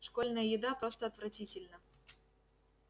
школьная еда просто отвратительна